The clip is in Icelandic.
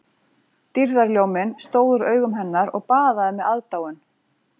Dýrðarljóminn stóð úr augum hennar og baðaði mig aðdáun